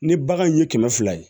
Ni bagan in ye kɛmɛ fila ye